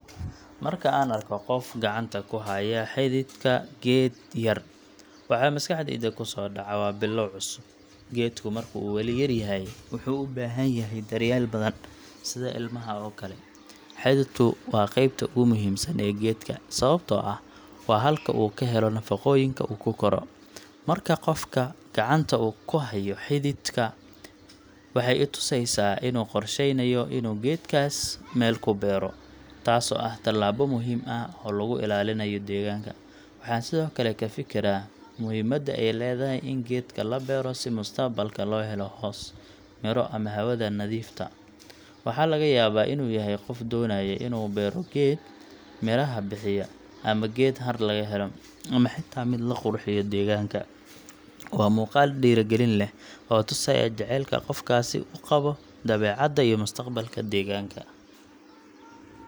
Marka aan arko qof gacanta ku haya xididka geed yar, waxa maskaxdayda ku soo dhaca waa bilow cusub. Geedku marka uu weli yar yahay, wuxuu u baahan yahay daryeel badan, sida ilmaha oo kale. Xididku waa qaybta ugu muhiimsan ee geedka, sababtoo ah waa halka uu ka helo nafaqooyinka uu ku koro. Marka qofku gacanta ku hayo xididka, waxay i tusaysaa inuu qorsheynayo inuu geedkaas meel ku beero, taasoo ah tallaabo muhiim ah oo lagu ilaalinayo deegaanka. Waxaan sidoo kale ka fikiraa muhiimada ay leedahay in geedka la beero si mustaqbalka loo helo hoos, midho ama hawada nadiifta. Waxaa laga yaabaa inuu yahay qof doonaya inuu beero geed miraha bixiya, ama geed hadh laga helo, ama xitaa mid la qurxiyo deegaanka. Waa muuqaal dhiirrigelin leh, oo tusaya jacaylka qofkaasi u qabo dabeecadda iyo mustaqbalka deegaanka.